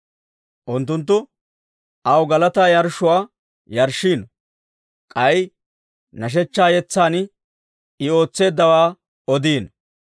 Unttunttu aw galataa yarshshuwaa yarshshino; K'ay nashshechchaa yetsan I ootseeddawaa odino.